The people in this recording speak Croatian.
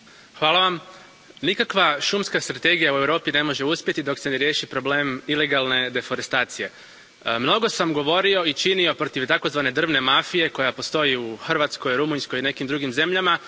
Poštovani predsjedavajući, nikakva šumska strategija u Europi ne može uspjeti dok se ne riješi problem ilegalne deforestacije. Mnogo sam govorio i činio protiv takozvane drvne mafije koja postoji u Hrvatskoj, Rumunjskoj i nekim drugim zemljama.